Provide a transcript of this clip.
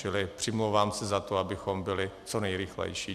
Čili přimlouvám se za to, abychom byli co nejrychlejší.